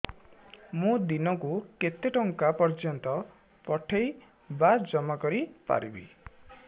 ମୁ ଦିନକୁ କେତେ ଟଙ୍କା ପର୍ଯ୍ୟନ୍ତ ପଠେଇ ବା ଜମା କରି ପାରିବି